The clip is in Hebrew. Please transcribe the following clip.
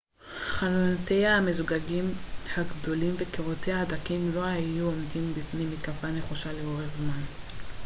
חלונותיה המזוגגים הגדולים וקירותיה הדקים לא היו עומדים בפני מתקפה נחושה לאורך זמן